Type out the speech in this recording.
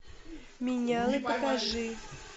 менялы покажи